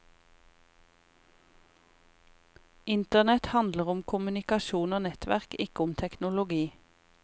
Internett handler om kommunikasjon og nettverk, ikke om teknologi.